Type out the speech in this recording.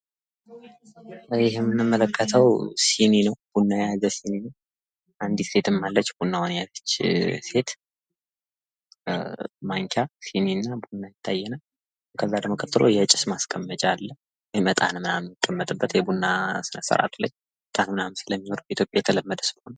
ይህ የምንመለከተው ሲኒ ነው ቡና የያዘ ሲኒ አንዲት ሴትም አለች ቡና የያዘች ሴት ማንኪያ ሲኒ እና ቡና ይታያል ። ከዛ ደግሞ ቀጥሎ የጭስ ማስቀመጫ አለ ። እጣን ምናምን ሚቀመጥበት የቡና ስርአቱ ላይ እጣን ምናምን ስለሚኖር በኢትዮጵያ የተለመደ ስለሆነ ።